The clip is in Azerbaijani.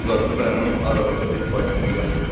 Uzaqda dayanan arabada bir faytonçu yatırdı.